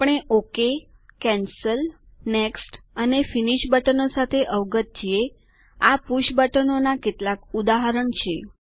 આપણે okay cancel next અને finish બટનો સાથે અવગત છીએ આ પુષ બટનોના કેટલાક ઉદાહરણ છે